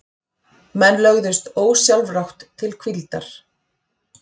Menn lögðust ósjálfrátt til hvíldar.